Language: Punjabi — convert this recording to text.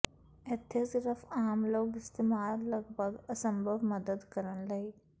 ਇੱਥੇ ਸਿਰਫ ਆਮ ਲੋਕ ਇਸਤੇਮਲ ਲੱਗਭਗ ਅਸੰਭਵ ਮਦਦ ਕਰਨ ਲਈ